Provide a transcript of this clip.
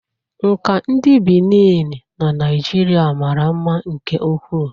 Nka ndị Benin na Naijiria mara mma nke ukwuu